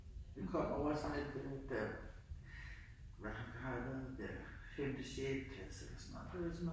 Vi kom ovre i sådan et øh da hvad hvad har jeg været ja femte sjette klasse eller sådan noget